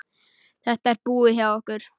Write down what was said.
Þetta er búið hjá okkur!